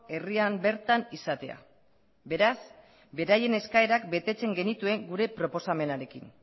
herrian bertan izatea beraz beraien eskaerak betetzen genituen gure proposamenarekin